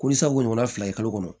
Ko sabu ɲɔgɔn fila ye kalo kɔnɔ